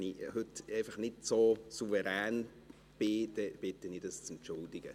Wenn ich heute nicht so souverän bin, bitte ich Sie, dies zu entschuldigen.